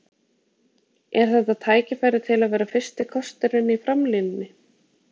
Er þetta tækifæri til að vera fyrsti kosturinn í framlínunni?